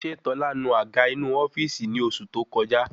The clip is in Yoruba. Ṣé tọ́lá nu àga inu ofíìsì ni oṣù tó koja?